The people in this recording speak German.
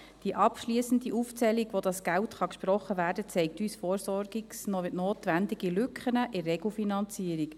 Die abschliessende Aufzählung, wo das Geld gesprochen werden kann, zeigt uns versorgungsnotwendige Lücken in der Regelfinanzierung.